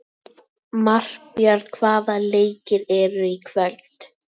Marbjörn, hvaða leikir eru í kvöld?